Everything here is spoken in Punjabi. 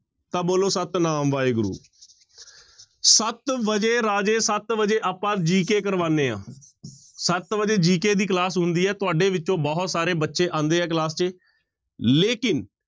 ਤਾਂ ਬੋਲੋ ਸਤਿਨਾਮ ਵਾਹਿਗੁਰੂ ਸੱਤ ਵਜੇ ਰਾਜੇ ਸੱਤ ਵਜੇ ਆਪਾਂ GK ਕਰਵਾਉਂਦੇ ਹਾਂ ਸੱਤ ਵਜੇ GK ਦੀ class ਹੁੰਦੀ ਹੈ ਤੁਹਾਡੇ ਵਿੱਚੋਂ ਬਹੁਤ ਸਾਰੇ ਬੱਚੇ ਆਉਂਦੇ ਹੈ class ਚ ਲੇਕਿੰਨ